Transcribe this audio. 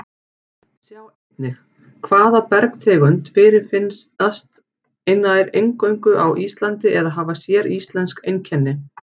Sjá einnig Hvaða bergtegundir fyrirfinnast nær eingöngu á Íslandi eða hafa séríslensk einkenni?